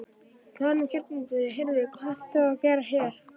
Karen Kjartansdóttir: Heyrðu hvað ert þú að gera hér?